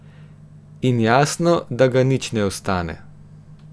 In jasno, da ga nič ne ostane.